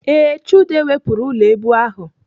Ee, Chude wepụrụ ụlọ èbù ahụ.